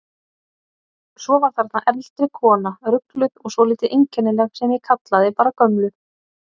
Svo var þarna eldri kona, rugluð og svolítið einkennileg, sem ég kallaði bara gömlu.